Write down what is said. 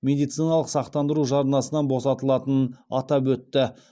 медициналық сақтандыру жарнасынан босатылатынын атап өтті